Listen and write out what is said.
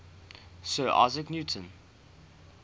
sir isaac newton